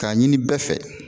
K'a ɲini bɛɛ fɛ